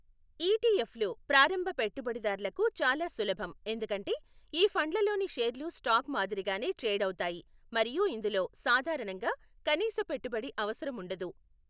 ETF లు ప్రారంభ పెట్టుబడిదారులకు చాలా సులభం ఎందుకంటే ఈ ఫండ్లలోని షేర్లు స్టాక్ మాదిరిగానే ట్రేడ్ అవుతాయి మరియు ఇందులో సాధారణంగా కనీస పెట్టుబడి అవసరం ఉండదు.